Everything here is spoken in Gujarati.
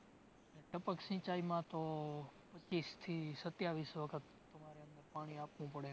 ટપક સિંચાઇમાં તો પચ્ચીસ થી સત્યાવીસ વખત પાણી આપવું પડે છે